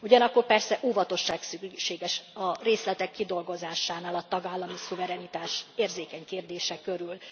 Ugyanakkor persze óvatosság szükséges a részletek kidolgozásánál a tagállami szuverenitás érzékeny kérdése körül.